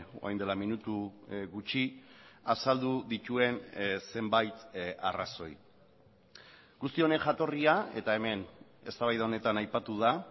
orain dela minutu gutxi azaldu dituen zenbait arrazoi guzti honen jatorria eta hemen eztabaida honetan aipatu da